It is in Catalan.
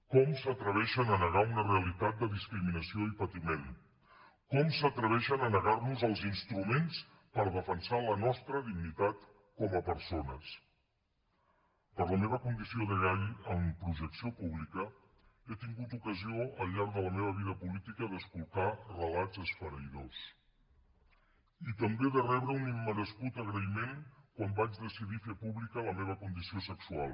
com s’atreveixen a negar una realitat de discriminació i patiment com s’atreveixen a negar nos els instruments per defensar la nostra dignitat com a persones per la meva condició de gai amb projecció pública he tingut ocasió al llarg de la meva vida política d’escoltar relats esfereïdors i també de rebre un immerescut agraïment quan vaig decidir fer pública la meva condició sexual